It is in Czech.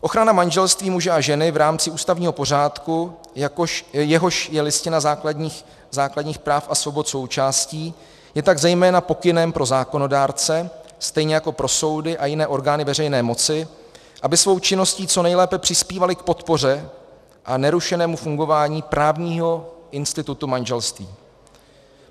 Ochrana manželství muže a ženy v rámci ústavního pořádku, jehož je Listina základních práv a svobod součástí, je tak zejména pokynem pro zákonodárce, stejně jako pro soudy a jiné orgány veřejné moci, aby svou činností co nejlépe přispívali k podpoře a nerušenému fungování právního institutu manželství.